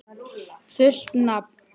Fullt nafn?